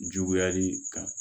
Juguyali kan